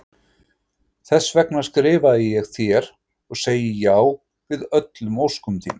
Þess vegna skrifaði ég þér- og segi já við öllum óskum þínum.